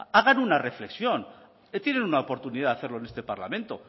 hagan una reflexión tienen una oportunidad de hacerlo en este parlamento